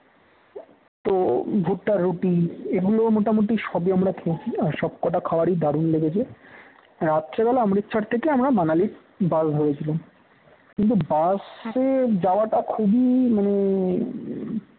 তো ভুট্টা রুটি এগুলো মোটামুটি সবই আমরা খেয়েছি আর সবকটা খাবার দারুণ লেগেছে রাত্রে বেলা অমৃতসর থেকে আমরা মানালির বাস ধরেছিলাম কিন্তু বাসে যাওয়াটা খুবই মানে